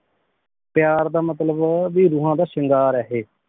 ਪਯਾਰ ਦਾ ਮਤਲਬ ਭੀ ਰੂਹਾਂ ਦਾ ਸ਼ਿੰਗਾਰ ਆ ਏਹੀ